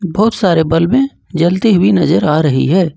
बहुत सारे बलबे में जलती हुई नजर आ रही है।